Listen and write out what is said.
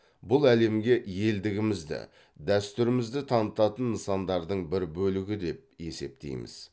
бұл әлемге елдігімізді дәстүрімізді танытатын нысандардың бір бөлігі деп есептейміз